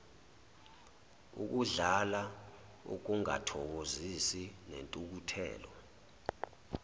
ukudlala ukungathokozi nentukuthelo